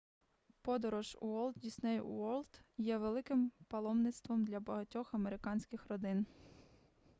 подорож в уолт дісней уорлд є великим паломництвом для багатьох американських родин